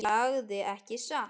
Ég sagði ekki satt.